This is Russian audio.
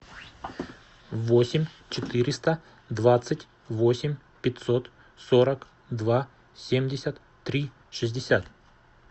восемь четыреста двадцать восемь пятьсот сорок два семьдесят три шестьдесят